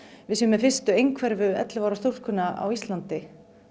við séum með fyrstu einhverfu ellefu ára stúlkuna á Íslandi